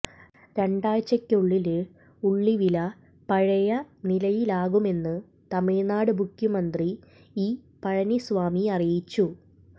രണ്ടാഴ്ചയ്ക്കുള്ളില് ഉള്ളി വില പഴയനിലയിലാകുമെന്ന് തമിഴ്നാട് മുഖ്യമന്ത്രി ഇ പളനിസ്വാമി അറിയിച്ചു